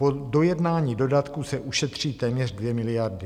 Po dojednání dodatku se ušetří téměř 2 miliardy.